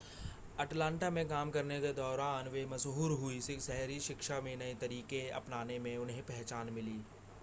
Atlanta में काम करने के दौरान वे मशहूर हुईं शहरी शिक्षा में नए तरीके अपनाने में उन्हें पहचान मिली